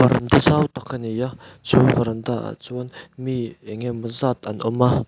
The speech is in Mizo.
varanda zau tak a ni a chu varanda ah chuan mi engemaw zat an awm a.